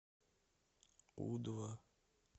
у два